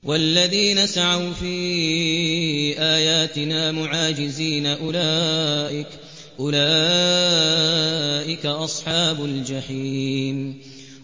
وَالَّذِينَ سَعَوْا فِي آيَاتِنَا مُعَاجِزِينَ أُولَٰئِكَ أَصْحَابُ الْجَحِيمِ